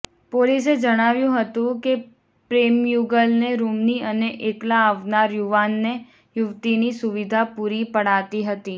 પોલીસે જણાવ્યું હતું કે પ્રેમીયુગલને રૂમની અને એકલા આવનાર યુવાનને યુવતીની સુવિધા પૂરી પડાતી હતી